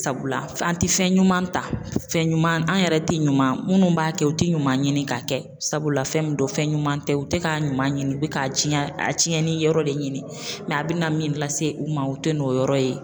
Sabula an tɛ fɛn ɲuman ta, fɛn ɲuman an yɛrɛ tɛ ɲuman munnu b'a kɛ u tɛ ɲuman ɲini k'a kɛ sabula fɛn min don fɛn ɲuman tɛ, u tɛ ka ɲuman ɲini u bɛ k'a diɲɛ a tiɲɛnni yɔrɔ de ɲini mɛ a bɛna min lase u ma u tɛ n'o yɔrɔ ye.